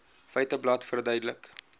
feiteblad verduidelik